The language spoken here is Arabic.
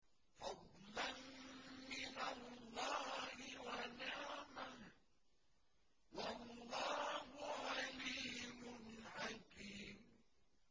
فَضْلًا مِّنَ اللَّهِ وَنِعْمَةً ۚ وَاللَّهُ عَلِيمٌ حَكِيمٌ